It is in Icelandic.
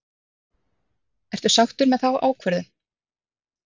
Ertu sáttur með þá ákvörðun?